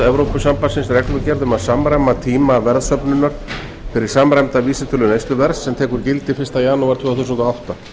evrópusambandsins reglugerð um að samræma tíma verðsöfnunar fyrir samræmda vísitölu neysluverðs sem tekur gildi fyrsta janúar tvö þúsund og átta